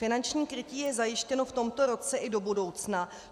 Finanční krytí je zajištěno v tomto roce i do budoucna.